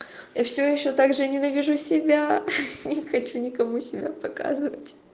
я все ещё также ненавижу себя не хочу никому себя показывать